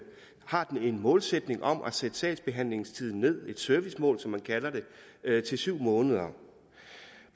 har den en målsætning om at sætte sagsbehandlingstiden ned et servicemål som man kalder det til syv måneder